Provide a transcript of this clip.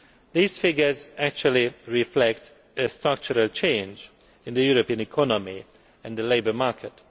These figures actually reflect a structural change in the European economy and the labour market.